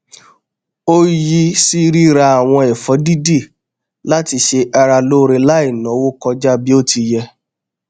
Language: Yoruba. ó yí sí ríra àwọn ẹfọ dídì láti ṣe ara lóore láì náwó kọjá bí ó ti yẹ